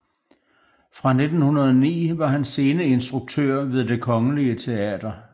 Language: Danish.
Fra 1909 var han sceneinstruktør ved Det Kongelige Teater